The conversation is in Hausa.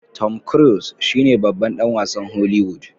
Tom cruiese shine babban dan wasn holiwood